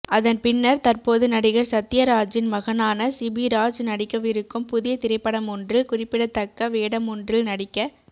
அதன் பின்னர் தற்போது நடிகர் சத்யராஜின் மகனான சிபிராஜ் நடிக்கவிருக்கும் புதிய திரைப்படமொன்றில் குறிப்பிடத்தக்க வேடமொன்றில் நடிக்க